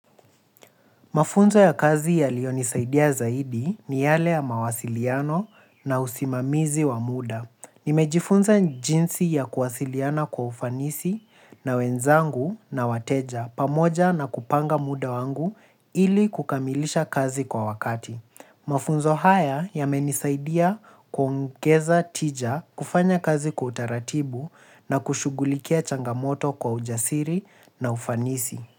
Mafunzo ya kazi yaliyonisaidia zaidi ni yale ya mawasiliano na usimamizi wa muda. Nimejifunza jinsi ya kuwasiliana kwa ufanisi na wenzangu na wateja pamoja na kupanga muda wangu ili kukamilisha kazi kwa wakati. Mafunzo haya yamenisaidia kwa ongeza tija kufanya kazi kwa utaratibu na kushughulikia changamoto kwa ujasiri na ufanisi.